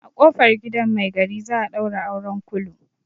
A ƙofar gidan mai gari za a ɗaura auren kulu.